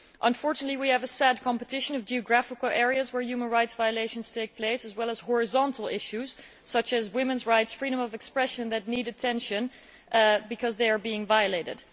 Unfortunately, we have a sad competition of geographical areas where human rights violations take place, as well as horizontal issues such as women's rights and freedom of expression that need attention because they are being violated.